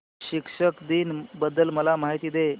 शिक्षक दिन बद्दल मला माहिती दे